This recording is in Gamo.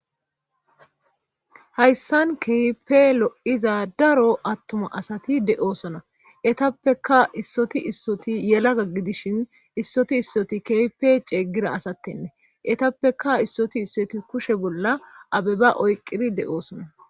Hayssan kehippe lo'iza daro attuma asati de'oosona etappeka issoti issoti yelagga gidishin issoti issoti kehippe ceegira asattenne etappeka issoti issoti kushe bolla abeba oyqqiri de'oosona